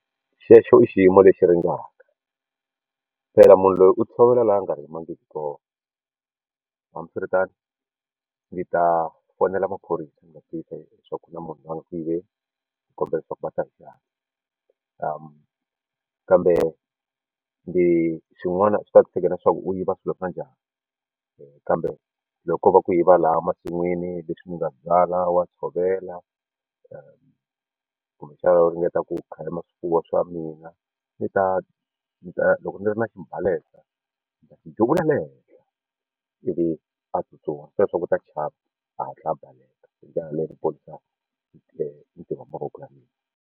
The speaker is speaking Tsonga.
Xexo i xiyimo lexi ringaka phela munhu loyi u tshovela laha a nga rimangiki kona hambiswiritano ndzi ta fonela maphorisa ni ma tivisa leswaku na munhu loyi a nga ku yiveni ni kombela leswaku va ta hi xihatla kambe ndzi swin'wana swi leswaku u yiva swilo swa njhani kambe loko ko va ku yiva laha masin'wini leswi ndzi nga byala wa tshovela kumbe xana u ringeta ku khalima swifuwo swa mina ni ta ni ta loko ndzi ri na xibalesa ndzi ta xi duvula le henhla ivi a tsutsuma se u ta chava a hatla a baleka hi ndlela leyo ndzi ponisa mitirho ya mavoko ya mina.